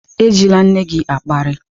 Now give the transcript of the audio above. Ejila nne gị akparị!